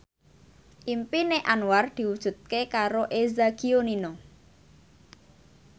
impine Anwar diwujudke karo Eza Gionino